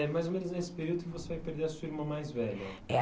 E é mais ou menos nesse período que você vai perder a sua irmã mais velha? É.